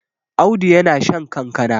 Audu yana shan kankana